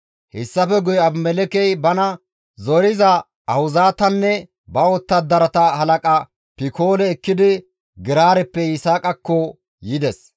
Hessafe guye Abimelekkey bana zoriza Ahuzaatanne ba wottadarata halaqa Pikoole ekkidi Geraareppe Yisaaqakko yides.